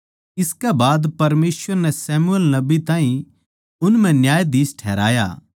इस सारी प्रक्रिया म्ह करीबन चार सौ पचास साल लाग्गे परमेसवर नै शमूएल नबी ताहीं उन म्ह न्यायाधीश ठहराया